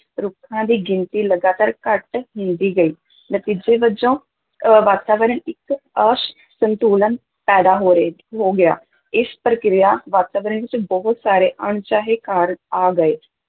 ਰੁੱਖਾਂ ਦੀ ਗਿਣਤੀ ਲਗਾਤਾਰ ਘੱਟ ਹੁੰਦੀ ਗਈ, ਨਤੀਜੇ ਵਜੋਂ ਅਹ ਵਾਤਾਵਰਨ ਇੱਕ ਅਸੰਤੁਲਨ ਪੈਦਾ ਹੋ ਰਹੇ ਹੋ ਗਿਆ, ਇਸ ਪ੍ਰਕਿਰਿਆ ਵਾਤਾਵਰਨ ਵਿੱਚ ਬਹੁਤ ਸਾਰੇ ਅਣਚਾਹੇ ਕਾਰਕ ਆ ਗਏ